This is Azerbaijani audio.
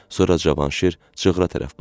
Sonra Cavanşir çığıra tərəf baxdı.